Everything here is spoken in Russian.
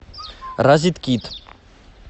розеткед